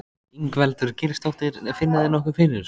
Ingveldur Geirsdóttir: Finna þeir nokkuð fyrir þessu?